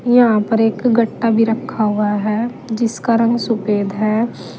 यहां पर एक गट्टा भी रखा हुआ है जिसका रंग सफेद है।